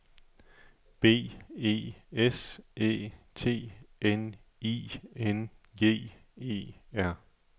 B E S Æ T N I N G E R